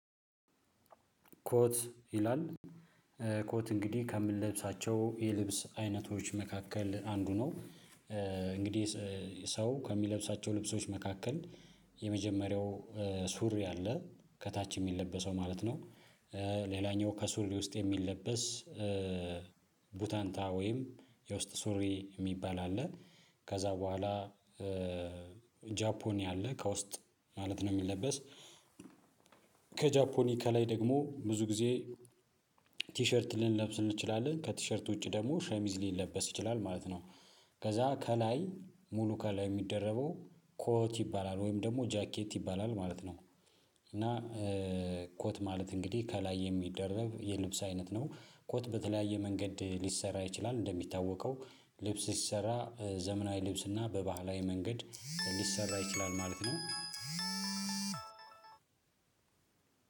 ኮት ይላል? ኮት እንግዲህ ከምንለብሳቸው የልብስ አይነቶች መካከል አንዱ ነው። እንግዲህ ሰው ከሚለብሳቸው ልብሶች መካከል የመጀመሪያው ሱሪ ያለ ከታች የሚለበሰው ማለት ነው። ሌላኛው ከሱሪ ውስጥ የሚለበስ ቡታንታ ወይም የውስጥ ሱሪ የሚባል አለ። ከዛ በኋላ ጃፖኒ አለ ከውስጥ ማለት ነው የሚለበስ። ከጃፖኒ ከላይ ደግሞ ብዙ ጊዜ ቲሸርት ልንለብስ እንችላለን ከቲሸርት ውጪ ደግሞ ሸሚዝ ሊለበስ ይችላል ማለት ነው። ከዛ ከላይ ሙሉ ከላይ የሚደረገው ኮት ይባላል ወይም ደግሞ ጃኬት ይባላል ማለት ነው። እና ኮት ማለት እንግዲህ ከላይ የሚደረብ የልብስ አይነት ነው ኮት በተለያየ መንገድ ሊሰራ ይችላል እንደሚታወቀው ልብስ ሲሰራ ዘመናዊ ልብስ እና በባህላዊ መንገድ ሊሰራ ይችላል ማለት ነው።